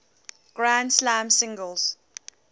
grand slam singles